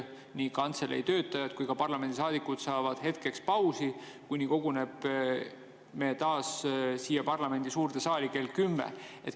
Nii kantselei töötajad kui ka parlamendisaadikud saavad hetkeks pausi, kuni me koguneme taas siia parlamendi suurde saali kell 10.